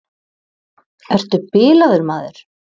Ertu bilaður, maður!